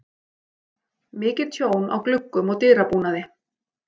Mikið tjón á gluggum og dyrabúnaði.